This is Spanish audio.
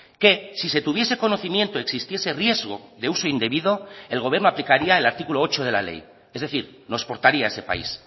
que si se tuviese conocimiento existiese riesgo de uso indebido el gobierno aplicaría el artículo ocho de la ley es decir nos portaría ese país